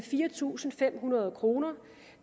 fire tusind fem hundrede kroner